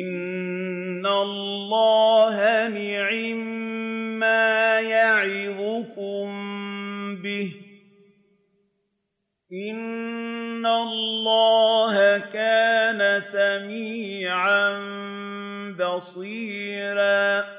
إِنَّ اللَّهَ نِعِمَّا يَعِظُكُم بِهِ ۗ إِنَّ اللَّهَ كَانَ سَمِيعًا بَصِيرًا